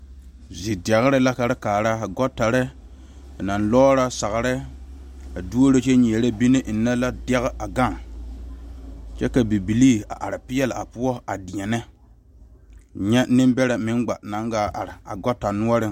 Zidɛre la ka te kaara gɔɔtare ba naŋ lɔrɔ sagre a doro kyɛ nyɛɛre bine enne la dɛgi a gaŋ kyɛ ka bibile a are pegle a poɔ a deɛne nyɛ Nenbɛre meŋ gbo naŋ gaa are a gɔɔta noɔre.